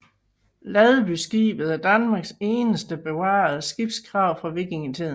Ladbyskibet er Danmarks eneste bevarede skibsgrav fra vikingetiden